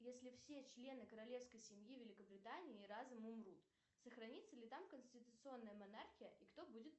если все члены королевской семьи великобритании разом умрут сохранится ли там конституционная монархия и кто будет